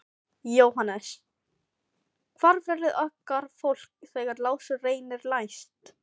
JÓHANNES: Hvar verður okkar fólk þegar Lárus reynir næst?